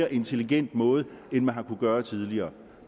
og intelligent måde end man har kunnet gøre tidligere